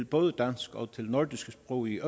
både dansk og nordiske sprog i